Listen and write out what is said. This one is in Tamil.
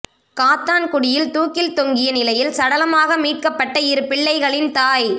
காத்தான்குடியில் தூக்கில் தொங்கிய நிலையில் சடலமாக மீட்க்கப்பட்ட இரு பிள்ளைகளின் தாய்